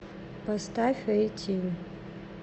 поставь эйтин